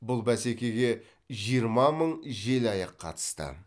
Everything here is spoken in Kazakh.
бұл бәсекеге жиырма мың желаяқ қатысты